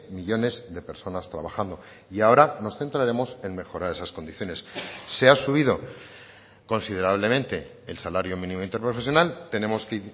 millónes de personas trabajando y ahora nos centraremos en mejorar esas condiciones se ha subido considerablemente el salario mínimo interprofesional tenemos que